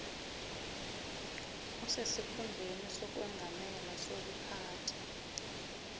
osesikhundleni sokwengamela sokuphatha